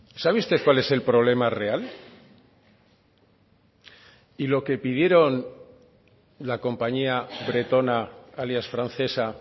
sabe usted cuál es el problema real y lo que pidieron la compañía bretona alias francesa